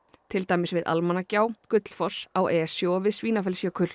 til dæmis við Almannagjá Gullfoss á Esju og við